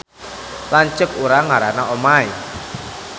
Lanceuk urang ngaranna Omay